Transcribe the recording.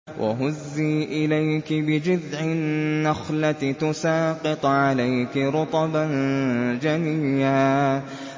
وَهُزِّي إِلَيْكِ بِجِذْعِ النَّخْلَةِ تُسَاقِطْ عَلَيْكِ رُطَبًا جَنِيًّا